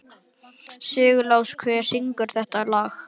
Sigurlás, hver syngur þetta lag?